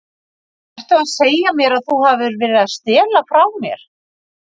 Ertu að segja mér að þú hafir verið að stela frá mér?